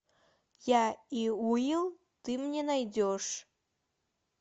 я и уилл ты мне найдешь